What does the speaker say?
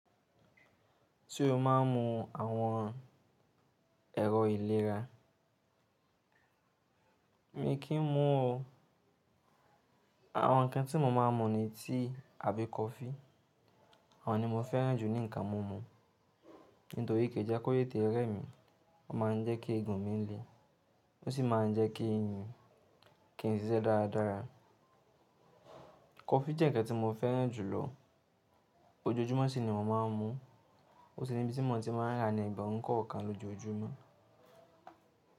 Tí o máa ń mu àwọn ẹ̀rọ ìlera. Mi kì í mu o. Àwọn ǹkan tí mo máa ń mu ni tíi abí coffee. Àwọn ni mo fẹ́ràn jù ní ǹkan mú mu. Nítorí kì í jẹ́ kó tete ré mi. Ó máa ń jẹ́ kí egun mi le. Ó sì máa ń jẹ́ kí ìyàn kí n ṣiṣẹ́ dára dára. Coffee jẹ́ ǹkan tí mo fẹ́ràn jù lọ. Ojoojúmọ́ ṣi ni mò ń mu. Ó sì ni ibi tí mo ti máa ń ra ní ẹgbẹ̀rún kọ̀ọ̀kan lójoojúmọ́